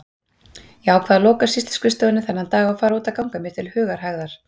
Ég ákvað að loka sýsluskrifstofunni þennan dag og fara út að ganga mér til hugarhægðar.